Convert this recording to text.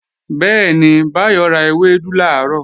Bẹ́ẹ̀ni, Báyọ̀ ra ewédú làárọ̀